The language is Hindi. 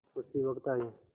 उसी वक्त आये